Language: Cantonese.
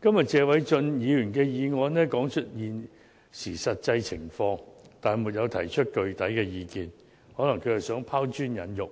今天謝偉俊議員提出的議案說出了實際情況，但沒有提出具體意見，可能他是想拋磚引玉，